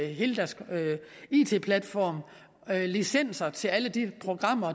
hele deres it platform licenser til al